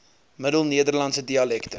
middel nederlandse dialekte